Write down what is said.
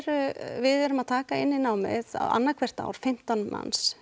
við erum að taka inn í námið annað hvert ár fimmtán manns